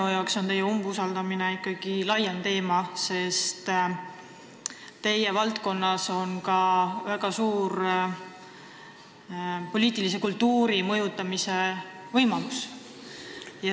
Minu jaoks on teie umbusaldamine ikkagi laiem teema, sest teie valdkonnas on väga suur võimalus poliitilist kultuuri mõjutada.